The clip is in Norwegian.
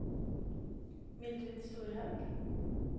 Mildrid Storhaug